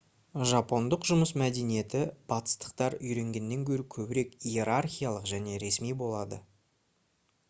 жапондық жұмыс мәдениеті батыстықтар үйренгеннен гөрі көбірек иерархиялық және ресми болады